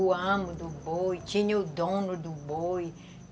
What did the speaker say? o amo do boi, tinha o dono do boi.